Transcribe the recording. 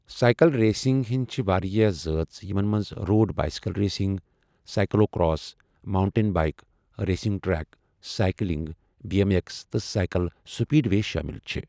Cycle racing ہٕنٛدۍ چھِ واریٛاہ زٲژ یِمَن منٛز road bicycle racing, cyclocross, mountain bike racing, track cycling, B M X, تہٕ سائیکل سپیڈ وے شٲمِل چھِ ۔